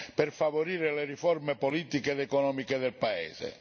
per favorire le riforme politiche ed economiche del paese.